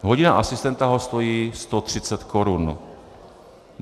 Hodina asistenta ho stojí 130 korun.